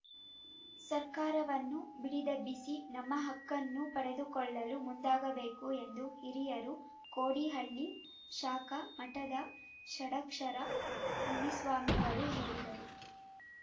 ಸರ್ಕಾರವನ್ನು ಬಡಿದೆಬ್ಬಿಸಿ ನಮ್ಮ ಹಕ್ಕನ್ನು ಪಡೆದುಕೊಳ್ಳಲು ಮುಂದಾಗಬೇಕು ಎಂದು ಹಿರಿಯೂರು ಕೋಡಿಹಳ್ಳಿ ಶಾಖಾ ಮಠದ ಷಡಕ್ಷರ ಮುನಿಸ್ವಾಮಿಗಳು ಹೇಳಿದರು